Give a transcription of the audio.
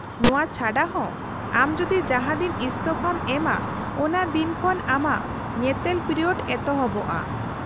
-ᱱᱚᱶᱟ ᱪᱷᱟᱰᱟ ᱦᱚᱸ, ᱟᱢ ᱡᱩᱫᱤ ᱡᱟᱦᱟᱸ ᱫᱤᱱ ᱤᱥᱛᱷᱚᱯᱷᱟᱢ ᱮᱢᱟ ᱚᱱᱟ ᱫᱤᱱ ᱠᱷᱚᱱ ᱟᱢᱟᱜ ᱧᱮᱛᱮᱞ ᱯᱤᱨᱤᱭᱳᱰ ᱮᱛᱚᱦᱚᱵᱜᱼᱟ ᱾